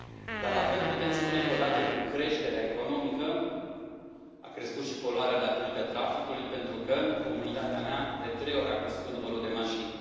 Dar la fel putem spune că, odată cu creșterea economică, a crescut și poluarea datorită traficului, pentru că, în comunitatea mea, de trei ori a crescut numărul de mașini.